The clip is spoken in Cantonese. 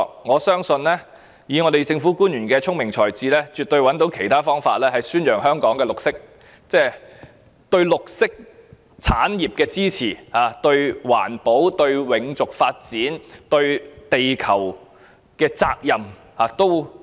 我相信以政府官員的聰明才智，絕對找到其他方法宣揚香港對綠色產業的支持，並彰顯政府對環保、永續發展及地球所負的責任。